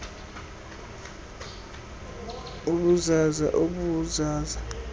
ubuzaza ob buzaza